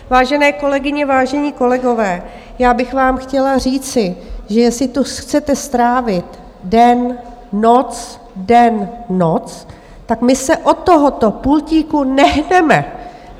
Vážené kolegyně, vážení kolegové, já bych vám chtěla říci, že jestli tu chcete strávit den, noc, den, noc, tak my se od tohoto pultíku nehneme.